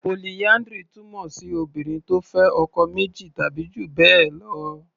Polyndry túmọ̀ sí Obìnrin tó fẹ́ ọkọ méjì tàbí jù bẹ́ẹ̀ lọ.